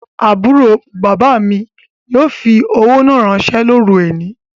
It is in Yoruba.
Aburo baba mi yoo fi owo naa ranse loru oni